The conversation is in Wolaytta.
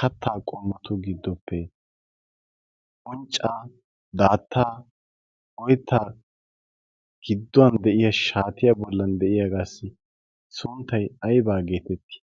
kattaa qommotu giddoppe unccaa, daattaa, oittaa gidduwan de7iya shaatiya bollan de'iyaagaassi sunttai aibaa geetettii?